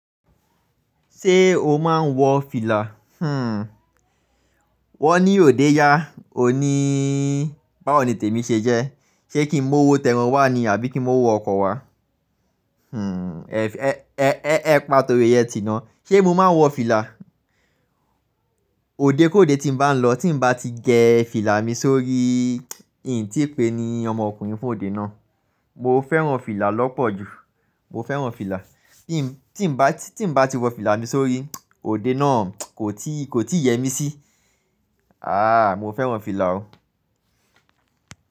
Ṣé o máa ń wọ fìlà? Hmmm. Wọ́n ni òde yá, o ní báwo ni tèmi ṣe jẹ́. Ṣé kí n mú owo tẹ́ ẹran wá ni àbí kí n mú owo ọkọ̀ wá? Hmmm. Ẹ̀, ẹ̀, ẹ́, ẹ́, ẹ́ pa torí ẹ ti nà. Ṣé mo máa ń wọ fìlà? Òde kóde tí n bá n lọ tí n bá ti gẹ fìlà mi sórí, in tíi pé ni ọmọkùnrin fún òde náà. Mo fẹ́ràn fìlà lọ́pọ̀ ju, mo fẹ́ràn fìlà. Him Tí n bá, tí n bá ti wọ fìlà mi sórí, òde náà kò tíì, kò tíì yẹ mí sí. Aaa, mo fẹ́ràn fìlà o.